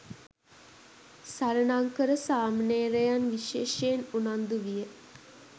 සරණංකර සාමණේරයන් විශේෂයෙන් උනන්දු විය.